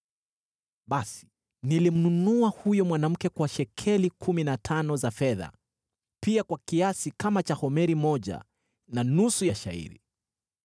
Basi nilimnunua huyo mwanamke kwa shekeli kumi na tano za fedha, pia kwa kiasi kama cha homeri moja na nusu ya shayiri.